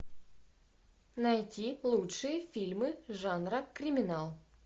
найти лучшие фильмы жанра криминал